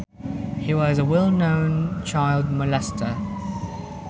He was a well known child molester